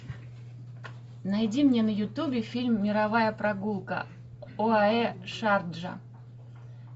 найди мне на ютубе фильм мировая прогулка оаэ шарджа